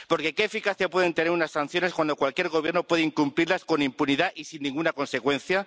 Porque ¿qué eficacia pueden tener unas sanciones cuando cualquier gobierno puede incumplirlas con impunidad y sin ninguna consecuencia?